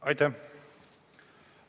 Aitäh!